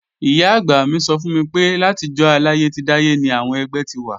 Ìyá-àgbà mi sọ fún mi pé látijọ́ aláyé ti dáyé ni àwọn ẹgbẹ́ ti wà